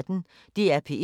DR P1